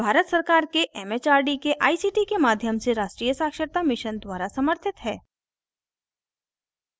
यह भारत सरकार के it it आर डी के आई सी टी के माध्यम से राष्ट्रीय साक्षरता mission द्वारा समर्थित है